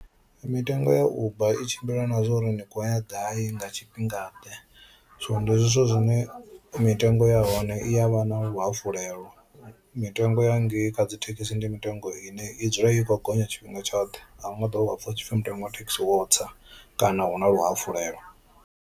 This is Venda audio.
Mitengo ya uber i tshimbila na zwa uri ni khou ya gai nga tshifhingaḓe so ndi zwithu zwine mitengo ya hone i ya vha na luhafhulelo, mitengo ya ngei kha dzi thekhisi ndi mitengo ine i dzula i khou gonya tshifhinga tshoṱhe ahu nga ḓovha wa pfha hu tshi pfi mutengo ya thekhisi wo tsa kana hu na luhafulelo.